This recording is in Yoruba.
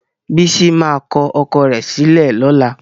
Bísí máa kọ ọkọ rẹ̀ sílẹ̀ lọ́la.